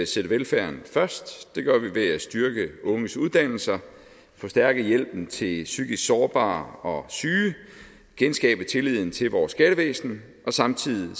sætte velfærden først det gør vi ved at styrke unges uddannelser forstærke hjælpen til psykisk sårbare og syge genskabe tilliden til vores skattevæsen og samtidig